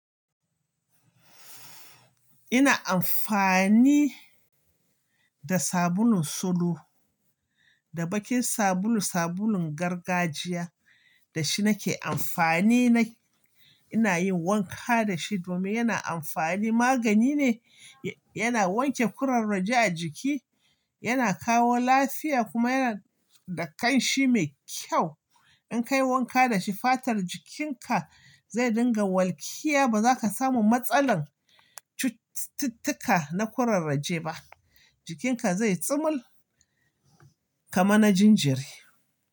Ina amfani da sabulun solo da bakin sabulu, sabulun gargajiya. Da shi nake amfani na-- ina yin wanka da shi domin yana amfani, magani ne, ya-yana wanke ƙurarraje a jiki, yana kawo lafiya kuma yana da ƙanshi mai kyau. In ka yi wanka da shi fatar jikinka zai dinga walƙiya ba za ka samu matsalar cututtuka na ƙurarraje ba. Jikinka zai tsumul kamar na jinjeri.